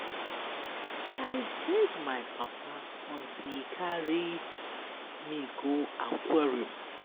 I beg my papa until he carry me go aquarium.